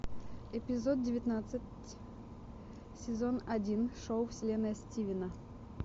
эпизод девятнадцать сезон один шоу вселенная стивена